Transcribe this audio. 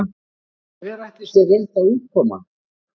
Hver ætli sé rétta útkoman?